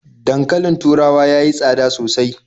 Dankalin taurawa ya yi tsada sosai.